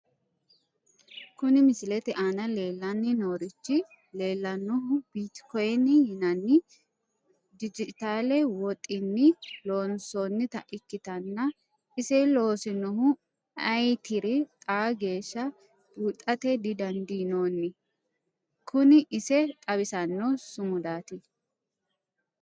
Kuni misilete aana leellanni noorichi leellannonu bitikoyiine yinanni dijitaale woxinni loossannota ikkitanna ise loosinohu ayeetiri xaa geeshsha buuxate didandiinnoonni kuni ise xawisanno sumudaati.